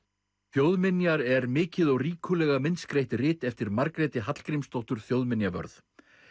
þjóðminjar er mikið og ríkulega myndskreytt rit eftir Margréti Hallgrímsdóttur þjóðminjavörð